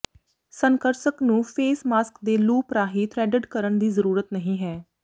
ਸਨਕਰਸਕ ਨੂੰ face mask ਤੇ loop ਰਾਹੀਂ ਥਰੈਡਡ ਕਰਨ ਦੀ ਜ਼ਰੂਰਤ ਨਹੀਂ ਹੈ